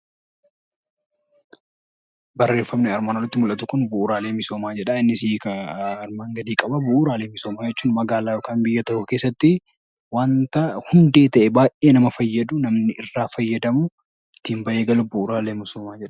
Barreeffamni armaan olitti mul'atu kun 'Bu'uraalee misoomaa' jedha. Innis hiika armaan gadii qaba. Bu'uraalee misoomaa jechuun magaalaa yookaqn biyya tokko keessatti wanra hundee ta'e baay'ee nama fayyadu, namni irraa fayyadamu, ittiin bahwe galu 'Bu'uraalee misoomaa' jedhama.